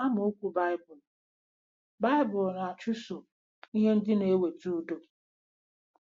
Amaokwu Baịbụl: Baịbụl: “ Na-achụso ihe ndị na-eweta udo.”